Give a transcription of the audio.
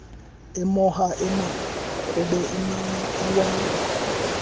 emoha emakube iwaba